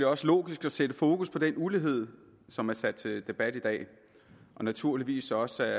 også logisk at sætte fokus på den ulighed som er sat til debat i dag og naturligvis også